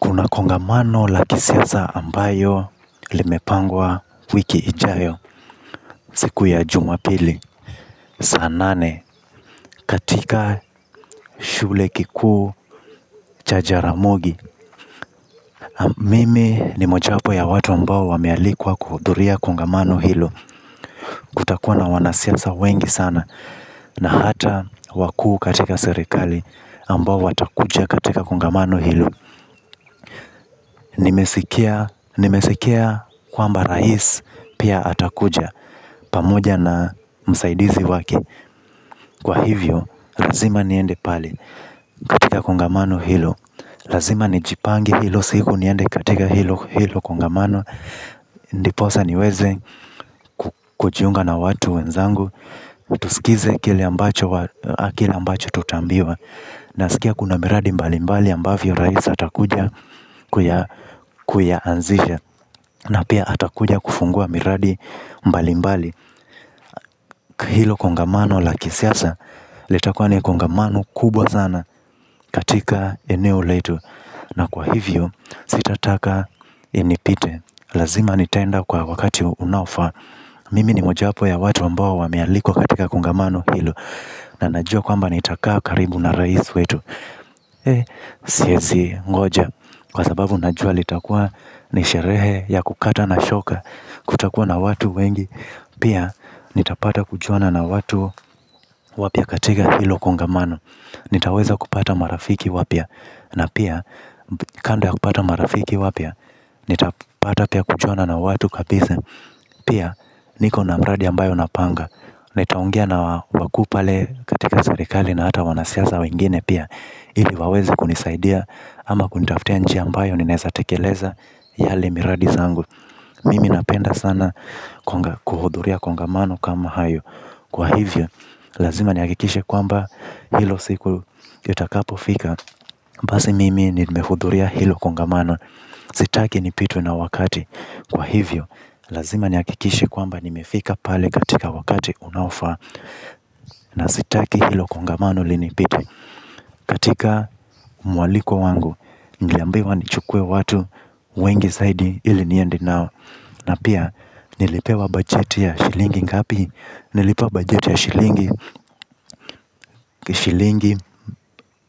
Kuna kongamano laki siyaza ambayo limepangwa wiki ijayo siku ya jumapili. Saa nane, katika shule kiku cha jaramogi. Mimi ni mojapo ya watu ambao wamealikwa kuhuduria kongamano hilo. Takuwa na wanasiasa wengi sana. Na hata wakuu katika serikali ambao watakuja katika kongamano hilo. Nimesikia kwamba rais pia atakuja. Pamoja na msaidizi wake. Kwa hivyo, lazima niende pale katika kongamano hilo. Lazima nijipange hilo siku niende katika hilo hilo kongamano. Ndiposa niweze kujiunga na watu wenzangu. Tuskize kile ambacho tutaambiwa. Na sikia kuna miradi mbalimbali ambavyo raisa atakuja kuyaanzisha. Na pia atakuja kufungua miradi mbalimbali. Hilo kongamano la kisiasa litakuwa ni kongamano kubwa zana katika eneo letu. Na kwa hivyo sitataka inipite. Lazima nitaenda kwa wakati unaofa. Mimi ni moja hapo ya watu ambao wamealikwa katika kongamano hilo. Na najua kwamba nitakaa karibu na rais wetu. Eh siyesi ngoja. Kwa sababu najua litakwa ni sherehe ya kukata na shoka. Kutakua na watu wengi. Pia, nitapata kujuana na watu wapia katika hilo kongamano. Nitaweza kupata marafiki wapia. Na pia, kando ya kupata marafiki wapia. Nitapata pia kujuana na watu kabisa. Pia, niko namradi ambayo napanga. Nitaongea na waku pale katika zerikali na hata wanasiaza wengine pia. Ili wawezi kunisaidia ama kunitafutia njia ambayo ninesatekeleza yale miradi za angu. Mimi napenda sana kuhudhuria kongamano kama hayo. Kwa hivyo, lazima nihakikishe kwamba hilo siku litakapofika. Basi mimi nimehudhuria hilo kongamano. Sitaki nipitwe na wakati. Kwa hivyo, lazima nihakikishe kwamba nimefika pale katika wakati unaofaa. Na sitaki hilo kongamano linipite katika mwaliko wangu niliambiwa nichukue watu wengi zaidi ili niende nao. Na pia nilipewa bajeti ya shilingi ngapi. Nilipewa bajeti ya shilingi Shilingi